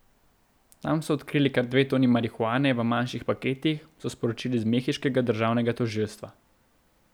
Tam so odkrili kar dve toni marihuane v manjših paketih, so sporočili z mehiškega državnega tožilstva.